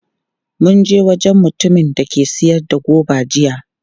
Mun je wajen mutumin da ke sayar da goba jiya.